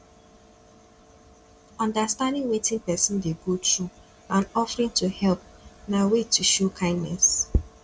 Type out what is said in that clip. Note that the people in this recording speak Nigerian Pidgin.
understanding wetin persin de go through and offering to help na way to show kindness